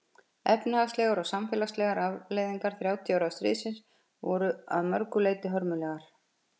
efnahagslegar og samfélagslegar afleiðingar þrjátíu ára stríðsins voru að mörgu leyti hörmulegar